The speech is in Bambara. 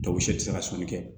u si tɛ se ka sɔnni kɛ